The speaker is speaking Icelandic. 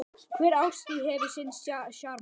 Hver árstíð hefur sinn sjarma.